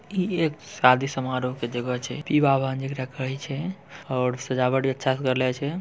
यह एक शादी समरोह की जगह छे और सजावट भी अच्छा से करले छे।